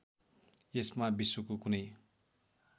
यसमा विश्वको कुनै